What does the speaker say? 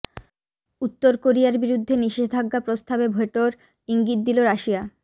উত্তর কোরিয়ার বিরুদ্ধে নিষেধাজ্ঞা প্রস্তাবে ভেটোর ইঙ্গিত দিল রাশিয়া